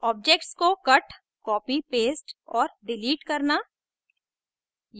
objects को cut copy paste और delete करना